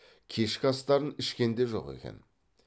кешкі астарын ішкен де жоқ екен